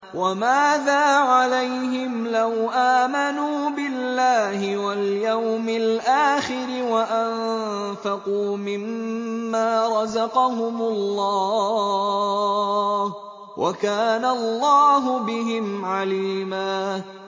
وَمَاذَا عَلَيْهِمْ لَوْ آمَنُوا بِاللَّهِ وَالْيَوْمِ الْآخِرِ وَأَنفَقُوا مِمَّا رَزَقَهُمُ اللَّهُ ۚ وَكَانَ اللَّهُ بِهِمْ عَلِيمًا